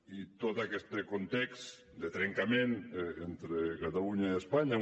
i tot aquest context de trencament entre catalunya i espanya